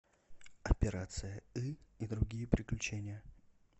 операция ы и другие приключения